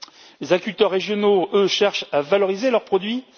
Les agriculteurs régionaux, eux, cherchent à valoriser leurs produits.